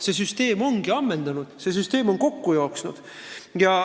See süsteem on end ammendanud, see süsteem on kokku jooksnud.